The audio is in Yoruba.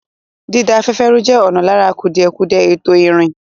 Dída afẹ́fẹ́ rú jẹ́ ọ̀kan lára kùdìẹ̀kudiẹ ètò ìrìn.